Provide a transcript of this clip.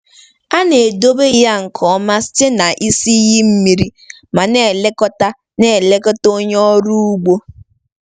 A na-edobe ya nke ọma site na isi iyi mmiri ma na-elekọta na-elekọta onye ọrụ ugbo.